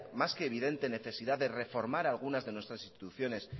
más que evidente necesidad de reformar algunas de nuestras instituciones